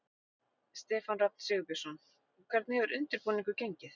Stefán Rafn Sigurbjörnsson: Hvernig hefur undirbúningur gengið?